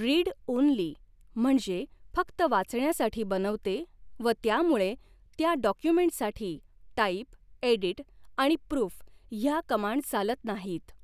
Read only म्हणजे फक्त वाचण्यासाठी बनवते व त्यामुळे त्या डॉक्युमेंटसाठी टाईप एडीट आणि प्रूफ हया कमांड चालत नाहीत.